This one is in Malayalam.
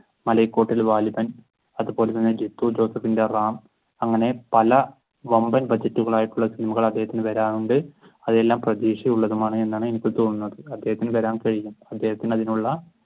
മലയ്‌ക്കോട്ടിൽ വാലിബൻ അതുപോലെ തന്നെ ജിത്തുജോസഫിന്റെ റാം അങ്ങനെ പല വമ്പൻ ബഡ്ജറ്റുകൾ ആയിട്ടുള്ള സിനിമകൾ അദ്ദേഹത്തിന് വരാനുണ്ട് അതെല്ലാം പ്രതീക്ഷയുള്ളതുമാണ് എന്നാണ് എനിക്ക് തോന്നുന്നത് അദ്ദേഹത്തിന് അദ്ദേഹത്തിന് അതിനുള്ള